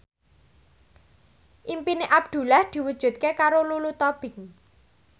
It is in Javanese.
impine Abdullah diwujudke karo Lulu Tobing